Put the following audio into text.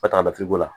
Ka taa lafiy'o la